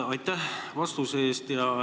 Aitäh vastuse eest!